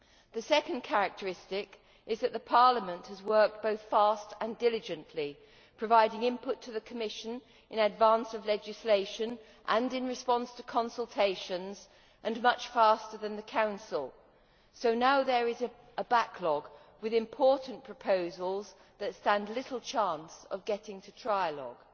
The second characteristic is that Parliament has worked both fast and diligently, providing input to the Commission in advance of legislation and in response to consultations and much faster than the Council, so now there is a backlog with important proposals that stand little chance of getting to trialogue.